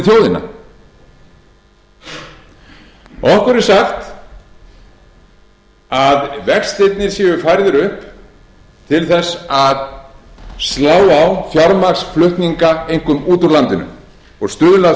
við þjóðina okkur er sagt að vextirnir séu færðir upp til þess að slá á fjármagnsflutninga einkum út úr landinu og stuðla að